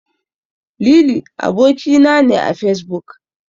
Lili aboki na ne a Fesbuk.